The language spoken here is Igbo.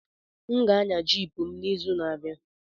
M ga-anya Jiip m n'izu na-abịa.